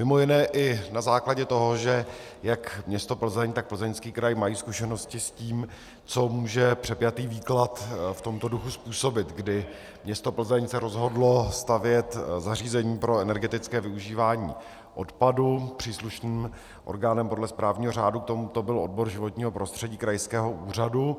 Mimo jiné i na základě toho, že jak město Plzeň, tak Plzeňský kraj mají zkušenosti s tím, co může přepjatý výklad v tomto duchu způsobit, kdy město Plzeň se rozhodlo stavět zařízení pro energetické využívání odpadu, příslušným orgánem podle správního řádu k tomuto byl odbor životního prostředí krajského úřadu